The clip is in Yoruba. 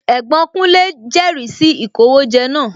Ẹ̀gbọ́n kúnlé jẹri sì ìkówójẹ náà